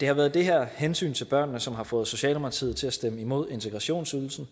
det har været det her hensyn til børnene som har fået socialdemokratiet til at stemme imod integrationsydelsen